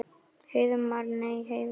Heiðmar. nei Heiðmar?